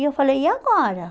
E eu falei, e agora?